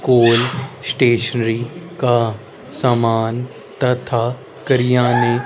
ओल स्टेशनरी का सामान तथा करियाने--